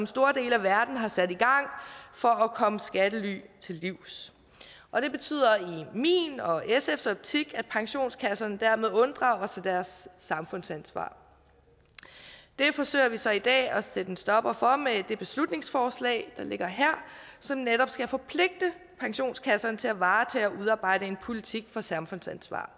store dele af verden har sat i gang for at komme skattely til livs og det betyder i min og sfs optik at pensionskasserne dermed unddrager sig deres samfundsansvar det forsøger vi så i dag at sætte en stopper for med det beslutningsforslag der ligger her som netop skal forpligte pensionskasserne til at varetage og udarbejde en politik for samfundsansvar